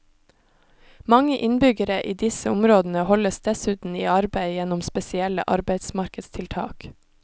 Mange innbyggere i disse områdene holdes dessuten i arbeid gjennom spesielle arbeidsmarkedstiltak.